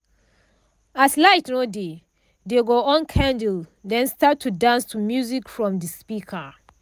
as light no dey dey go on candle den start to dance to music from de speaker.